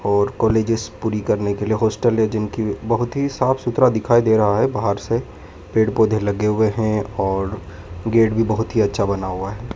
और कॉलेजेस पूरी करने के लिए हॉस्टल है जिनकी बहुत ही साफ सुथरा दिखाई दे रहा है बाहर से पेड़ पौधे लगे हुए हैं और गेट भी बहोत ही अच्छा बना हुआ हैं।